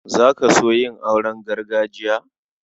Za ka so yin auren gargajiya?